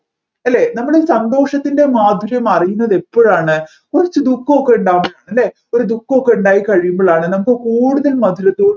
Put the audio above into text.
അല്ലെ നമ്മൾ സന്തോഷത്തിൻെറ മാധുര്യം അറിയുന്നത് എപ്പോഴാണ് കുറച്ച് ദുഃഖം ഒക്കെ ഉണ്ടാവുമ്പോഴാണ് അല്ലെ ഒരു ദുഃഖമൊക്കെ ഉണ്ടായിക്കഴിയുമ്പോഴാണ് നമ്മുക്ക് കൂടുതൽ മധുരത്തോടു